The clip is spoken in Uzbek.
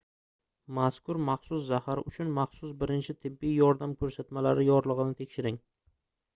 mazkur maxsus zahar uchun maxsus birinchi tibbiy yordam koʻrsatmalari yorligʻini tekshiring